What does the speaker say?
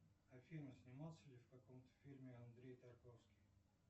афина снимался ли в каком то фильме андрей тарковский